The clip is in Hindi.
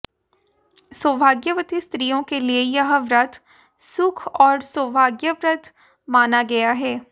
सौभाग्यवती स्त्रियों के लिए यह व्रत सुख और सौभाग्यप्रद माना गया है